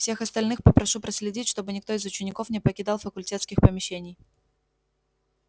всех остальных попрошу проследить чтобы никто из учеников не покидал факультетских помещений